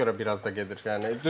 Ona görə biraz da gedir yəni.